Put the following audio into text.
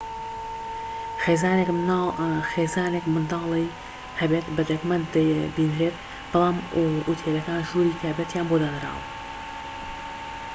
خێزانێك منداڵی هەبێت بە دەگمەن دەبینرێت بەڵام ئوتێلەکان ژووری تایبەتییان بۆ داناون